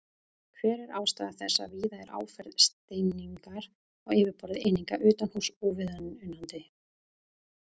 Hver er ástæða þess að víða er áferð steiningar á yfirborði eininga utanhúss óviðunandi?